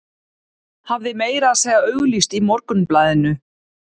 Hafði meira að segja auglýst í Morgunblaðinu.